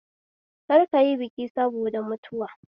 Kar kayi biki sabida mutuwa